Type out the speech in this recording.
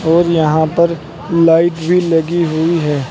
और यहां पर लाइट भी लगी हुई है।